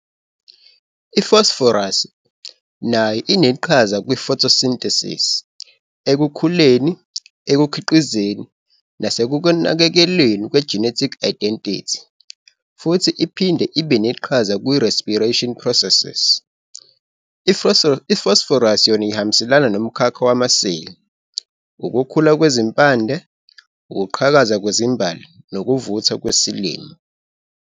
IFosforasi nayo ineqhaza kwi-photosynthesis, ekukhuleni, ekukhiqizeni nasekunakekelweni kwe-genetic identity, futhi iphinde ibe neqhaza ku-respiration proses. I-fosforasi yona ihambisana nomkhakha wamaseli, ukukhula kwezimpande, ukuqhakaza kwezimbali nokuvuthwa kwesilimo.